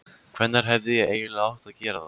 Hvenær hefði ég eiginlega átt að gera það?